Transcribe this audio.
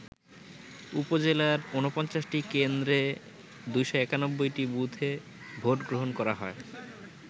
উপজেলার ৪৯ টি কেন্দ্রে ২৯১টি বুথে ভোটগ্রহণ করা হয়।